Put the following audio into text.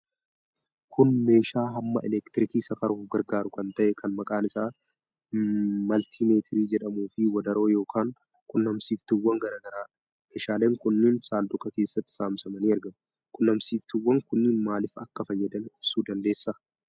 Kun meeshaa hamma elektirikii safaruuf gargaaru kan ta'e, kan maqaan isaa maltimeetirii jedhamuufi wadaroo yookiin qunnamsiiftuuwwan garaa garaadha. Meeshaaleen kunneen saanduqa keessatti saamsamanii argamu. Quunnamsiiftuwwan kunneen maalif akka fayyadan ibsuu dandeessaa?